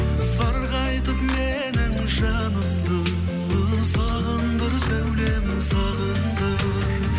сарғайтып менің жанымды сағындыр сәулем сағындыр